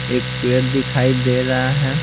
एक पेड़ दिखाई दे रहा है।